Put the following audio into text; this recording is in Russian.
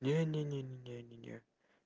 не не не не не не не